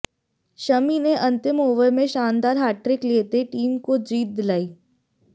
शमी ने अंतिम ओवर में शानदार हैट्रिक लेते टीम को जीत दिलाई